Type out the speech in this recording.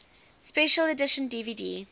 special edition dvd